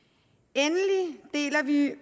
endelig deler vi